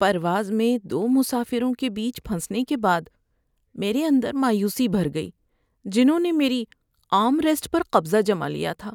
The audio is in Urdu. ‏پرواز میں دو مسافروں کے بیچ پھنسنے کے بعد میرے اندر مایوسی بھر گئی جنہوں نے میری آرم ریسٹ پر قبضہ جما لیا تھا۔